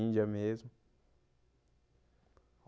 Índia mesmo.